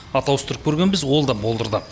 ат ауыстырып көргенбіз ол да болдырды